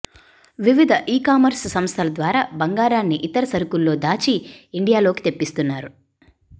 వివిధ ఈకామర్స్ సంస్థల ద్వారా బంగారాన్ని ఇతర సరుకుల్లో దాచి ఇండియాలోకి తెప్పిస్తున్నారు